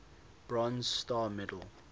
bronze star medal